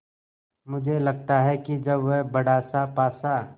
मुझे लगता है कि जब वह बड़ासा पासा